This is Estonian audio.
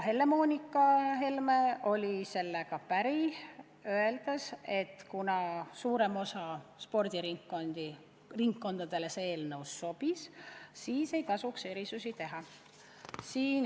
Helle-Moonika Helme oli sellega päri, öeldes, et kuna suuremale osale spordiringkondadele see eelnõu sobis, siis ei tasuks erisusi teha.